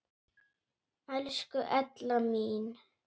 Elsku Ella mín.